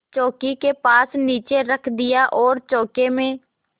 चौकी के पास नीचे रख दिया और चौके में